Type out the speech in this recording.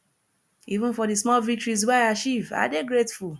even for di small victories wey i achieve i dey grateful